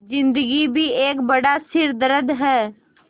ज़िन्दगी भी एक बड़ा सिरदर्द है